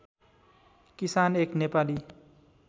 किसान एक नेपाली